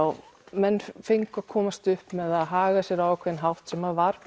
menn fengu að komast upp með að haga sér á ákveðinn hátt sem var